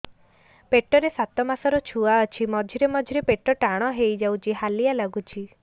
ପେଟ ରେ ସାତମାସର ଛୁଆ ଅଛି ମଝିରେ ମଝିରେ ପେଟ ଟାଣ ହେଇଯାଉଚି ହାଲିଆ ଲାଗୁଚି